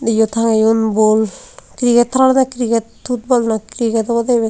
iyo tangeyon bol cricket hara dw cricket futtball noi cricket obowdey iyen.